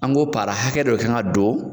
An ko para hakɛ dɔ kan ka don